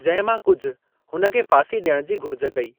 जंहिं मां कुझु हुन खे फ़ांसी डि॒यण जी घुरिज कई।